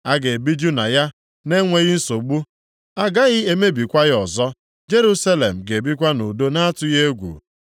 A ga-ebiju na ya na-enweghị nsogbu. A gaghị emebikwa ya ọzọ. Jerusalem ga-ebikwa nʼudo na-atụghị egwu.